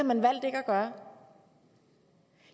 man valgt ikke at gøre